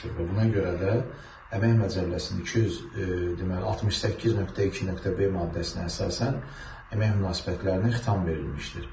Və buna görə də əmək məcəlləsinin 200 deməli 68.2.b maddəsinə əsasən əmək münasibətlərinə xitam verilmişdir.